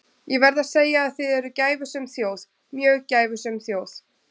Ég verð að segja að þið eruð gæfusöm þjóð, mjög gæfusöm þjóð.